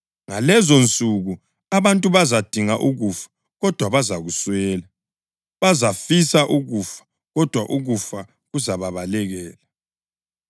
Ngalezonsuku abantu bazadinga ukufa, kodwa bazakuswela; bazafisa ukufa, kodwa ukufa kuzababalekela.